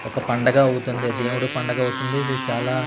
ఒక పండగ అవుతుంది దేవుడి పండగ అవుతుంది ఇది చాలా--